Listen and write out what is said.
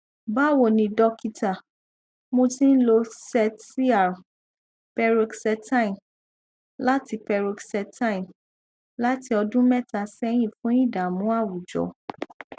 bawoni dókítà mo ti n lo xet cr paroxetine láti paroxetine láti ọdún mẹta sẹyìn fún ìdààmú àwùjọ